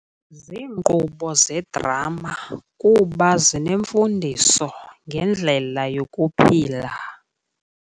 Ziinkqubo zedrama kuba zinemfundiso ngendlela yokuphila.